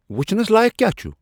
وُچھنس لایق کیا چُھ ؟